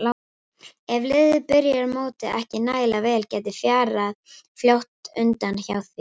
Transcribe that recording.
Ef liðið byrjar mótið ekki nægilega vel gæti fjarað fljótt undan hjá því.